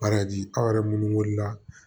aw yɛrɛ munnu wele la